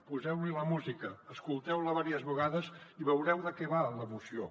poseu li la música escolteu la diverses vegades i veureu de què va la moció